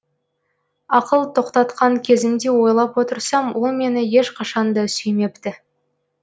ақыл тоқтатқан кезімде ойлап отырсам ол мені ешқашанда сүймепті